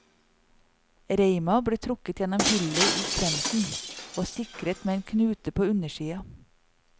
Reima ble trukket gjennom hullet i kvemsen, og sikret med en knute på undersida.